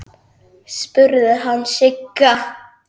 spurði hann Sigga.